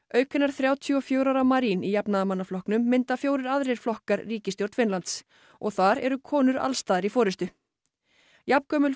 auk hinnar þrjátíu og fjögurra ára Marin í jafnaðarmannaflokknum mynda fjórir aðrir flokkar ríkisstjórn Finnlands og þar eru konur alls staðar í forystu jafngömul